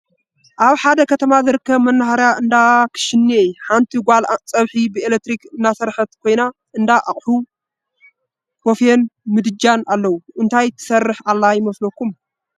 አብ ሐደ ከተማ ዝርከብ መኖርያ እንዳክሽንየ ሐንቲ ጓል ፀብሒ ብኤለክትሪክ እናሰርሐት ኮይና እንዳ አቅሑ ቦፍየን ምድጃን አለው። እንታይ ትሰርሕ ዘላ ይመስለኩም?